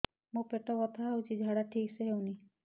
ମୋ ପେଟ ବଥା ହୋଉଛି ଝାଡା ଠିକ ସେ ହେଉନି